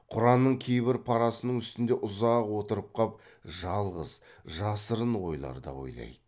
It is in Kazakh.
құранның кейбір парасының үстінде ұзақ отырып қап жалғыз жасырын ойлар да ойлайды